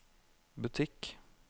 butikk